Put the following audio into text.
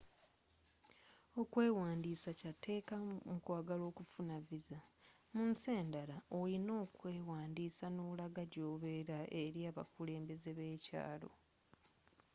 okwewandisa kyatekka mukwagala okufuna visa mu nsi enddala olina okwewandisa n'olagga gyobela eri abakulembeze abekyalo